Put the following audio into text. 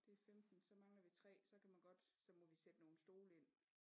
Det er 15 så mangler vi 3 så kan man godt så må vi sætte nogle stole ind